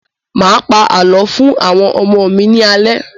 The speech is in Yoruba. Máa pa àlọ́ fún àwọn ọmọ mi ní alẹ́